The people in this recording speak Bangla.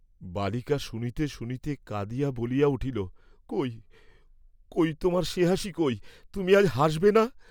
বালিকা শুনিতে শুনিতে কাঁদিয়া বলিয়া উঠিল, কই, কই, তোমার সে হাসি কই, তুমি আজ হাসবে না?